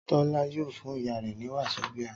Tọ́lá yóò fún ìyá rẹ ní wasobia